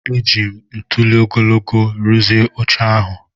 Ejiri m ntuli ogologo rụzie oche ahụ.